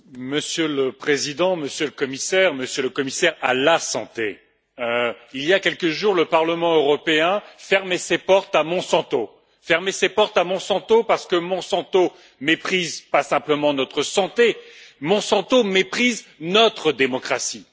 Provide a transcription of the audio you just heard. Monsieur le Président, Monsieur le Commissaire, Monsieur le Commissaire à la santé, il y a quelques jours, le Parlement européen fermait ses portes à Monsanto, parce que Monsanto ne méprise pas simplement notre santé, Monsanto méprise notre démocratie.